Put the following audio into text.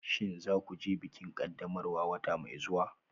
Shin za ku je bikin ƙaddamarwa wata mai zuwa?